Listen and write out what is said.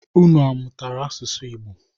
Unu mụtara asụsụ Igbo?